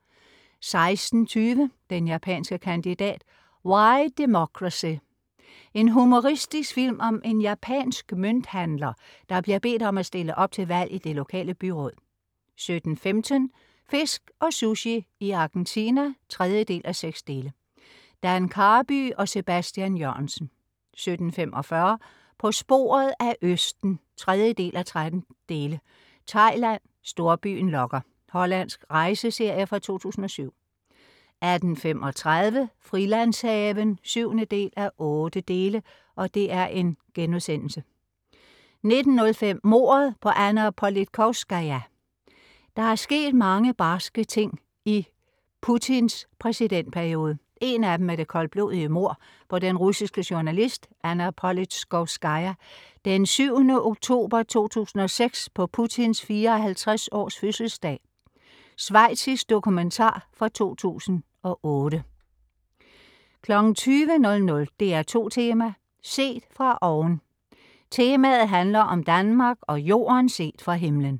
16.20 Den japanske kandidat, Why Democracy. En humoristisk film om en japansk mønthandler, der bliver bedt om at stille op til valg i det lokale byråd 17.15 Fisk og Sushi i Argentina 3:6. Dan Karby og Sebastian Jørgensen 17.45 På sporet af østen. 3:13. " Thailand - storbyen lokker". Hollandsk rejseserie fra 2007 18.35 Frilandshaven 7:8* 19.05 Mordet på Anna Politkovskaja. Der er sket mange barske ting i Putins præsidentperiode. En af dem er det koldblodige mord på den russiske journalist Anna Politkovskaja. Den 7. oktober 2006, på Putins 54-års-fødselsdag Schweizisk dokumentar fra 2008 20.00 DR2 Tema: Set fra oven. Temaet handler om Danmark og Jorden set fra himmelen